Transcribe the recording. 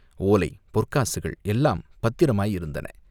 ஓலை, பொற்காசுகள் எல்லாம் பத்திரமாயிருந்தன!